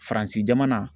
Faransi jamana